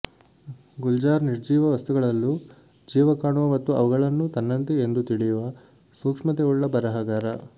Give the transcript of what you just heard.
ಗುಲ್ಜಾರ್ ನಿರ್ಜೀವ ವಸ್ತುಗಳಲ್ಲೂ ಜೀವ ಕಾಣುವ ಮತ್ತು ಅವುಗಳನ್ನೂ ತನ್ನಂತೆ ಎಂದು ತಿಳಿಯುವ ಸೂಕ್ಷ್ಮತೆ ಉಳ್ಳ ಬರಹಗಾರ